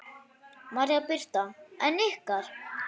María Birta en ykkar?